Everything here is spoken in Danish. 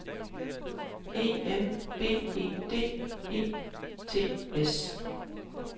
E M B E D E T S